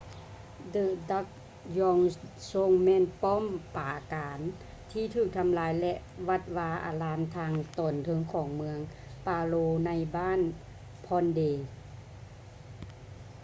the drukgyal dzong ແມ່ນປ້ອມປາການທີ່ຖືກທໍາລາຍ ແລະ ວັດວາອາຣາມທາງຕອນເທິງຂອງເມືອງ paro ໃນບ້ານ phondey